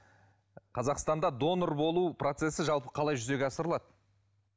қазақстанда донор болу процессі жалпы қалай жүзеге асырылады